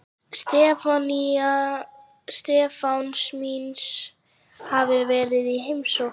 Stefáns míns hafi verið í heimsókn.